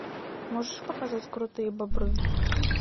можешь показать крутые бобры